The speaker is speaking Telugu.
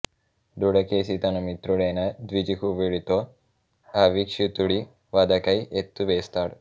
దృఢకేశి తన మిత్రుడయిన ద్విజిహ్వుడితో అవీక్షితుడి వధకై ఎత్తు వేస్తాడు